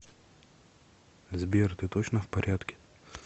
сбер ты точно в порядке